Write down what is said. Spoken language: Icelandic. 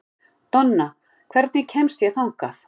Donna, hvernig kemst ég þangað?